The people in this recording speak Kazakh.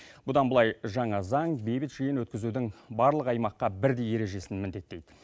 бұдан былай жаңа заң бейбіт жиын өткізудің барлық аймаққа бірдей ережесін міндеттейді